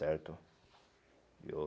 Certo? Eu